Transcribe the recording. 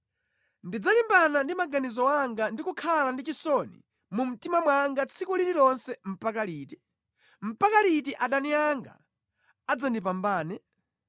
Ndidzalimbana ndi maganizo anga ndi kukhala ndi chisoni mu mtima mwanga tsiku lililonse mpaka liti? Mpaka liti adani anga adzandipambana?